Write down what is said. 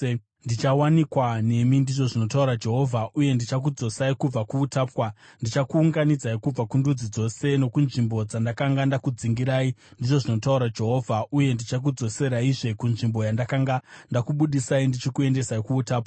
Ndichawanikwa nemi,” ndizvo zvinotaura Jehovha, “uye ndichakudzosai kubva kuutapwa. Ndichakuunganidzai kubva kundudzi dzose nokunzvimbo dzandakanga ndakudzingirai,” ndizvo zvinotaura Jehovha, “uye ndichakudzoseraizve kunzvimbo yandakanga ndakubudisai ndichikuendesai kuutapwa.”